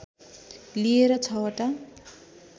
लिएर छवटा